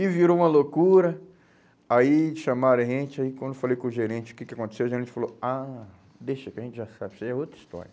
E virou uma loucura, aí chamaram a gente, aí quando eu falei com o gerente o que que aconteceu, o gerente falou, ah, deixa que a gente já sabe, isso aí é outra história.